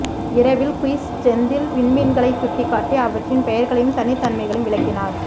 இரவில் குயிஸ் செந்தில் விண்மீன்களைச் சுட்டிக்காட்டி அவற்றின் பெயர்களையும் தனித்தன்மைகளையும் விளக்கினார்